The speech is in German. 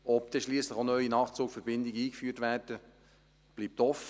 Ob schliesslich auch neue Nachtzugverbindungen eingeführt werden, bleibt offen.